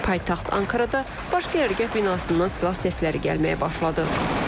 Paytaxt Ankarada Baş Qərargah binasından silah səsləri gəlməyə başladı.